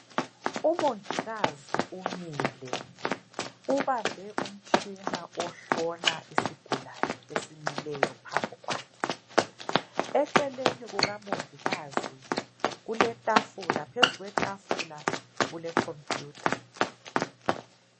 Umongikazi umile ubambe umtshina ohlola isigulane esimileypo phambikwakhe eceleni kukamongikazi kuletafula phezu kwetafula kule computer.